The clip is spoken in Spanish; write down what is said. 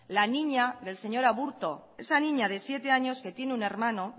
la niña del señor aburto esa niña de siete años que tiene un hermano